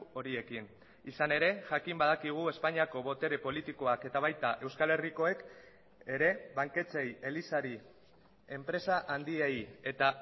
horiekin izan ere jakin badakigu espainiako botere politikoak eta baita euskal herrikoek ere banketxeei elizari enpresa handiei eta